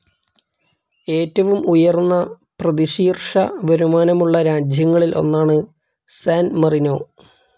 ഏറ്റവും ഉയർന്ന പ്രതിശീർഷ വരുമാനമുള്ള രാജ്യങ്ങളിൽ ഒന്നാണ് സാൻ മറീനോ.